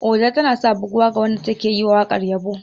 Oja tanasa buguwa ga wanda take yiwa wakar yabo.